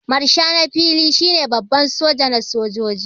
Marsha na fili shi ne Baban soja na sojoji.